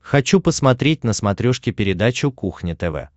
хочу посмотреть на смотрешке передачу кухня тв